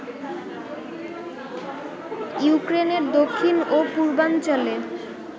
ইউক্রেনের দক্ষিণ ও পূর্বাঞ্চলে